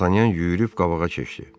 Dartanyan yüyürüb qabağa keçdi.